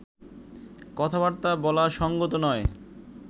কথাবার্তা বলা সঙ্গত নয়